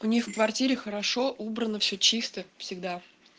у них в квартире хорошо убрано все чисто всегда